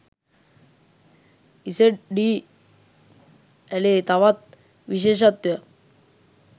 ඉසෙඞ් ඞී ඇළේ තවත් විශේෂත්වයක්